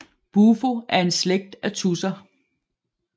Bufo er en slægt af tudser